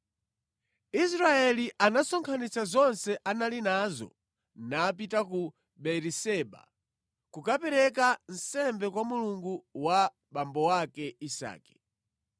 Israeli anasonkhanitsa zonse anali nazo napita ku Beeriseba kukapereka nsembe kwa Mulungu wa abambo ake Isake.